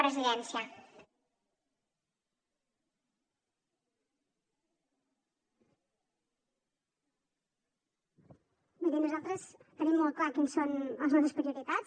miri nosaltres tenim molt clar quines són les nostres prioritats